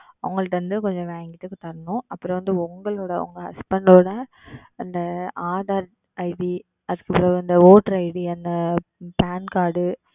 அவர்களிடம் இருந்து வாங்கி எங்களிடம் கொண்டு வந்து தரவேண்டும் அப்புறம் வந்து உங்களுடைய உங்கள் Husband உடைய அந்த Aadhar ID அதற்கு அப்புறம் அந்த Voter ID அந்த Pan Card